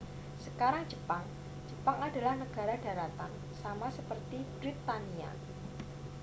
sekarang jepang jepang adalah negara daratan sama seperti britania